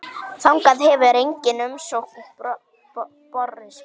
Þangað hefur engin umsókn borist.